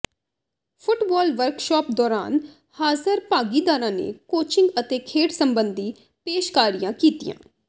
football workshop ਦੌਰਾਨ ਹਾਜ਼ਰ ਭਾਗੀਦਾਰਾਂ ਨੇ ਕੋਚਿੰਗ ਅਤੇ ਖੇਡ ਸਬੰਧੀ ਪੇਸ਼ਕਾਰੀਆਂ ਕੀਤੀਆਂ